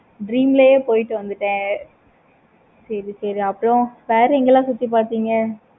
dream லையே போயிட்டு வந்துட்டான். சேரி சேரி அப்பறம் வேற எண்களாம் சுத்தி பார்த்தீங்க